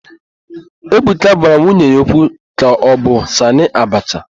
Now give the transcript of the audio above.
Ebuka gwara nwunye ya okwu ka ọ bụ Sanị Abacha.